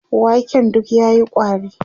waken duk yayi ƙwari